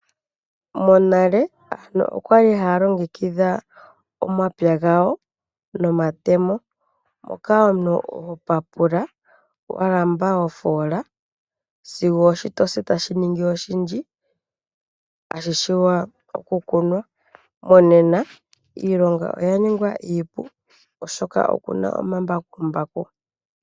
Monale aantu okwali haalongekidha omapya gawo nomatemo moka omuntu hopapula walamba oofoola sigo ooshi tashi ningi oshindji tashi vulu okukunwa, monena iilonga oyaningwa iipu oshoka opuna omambakumbaku.